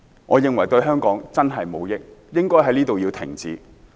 我認為這對香港的確無益，應該在此停止。